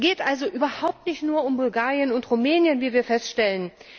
Es geht also überhaupt nicht nur um Bulgarien und Rumänien, wie wir feststellen.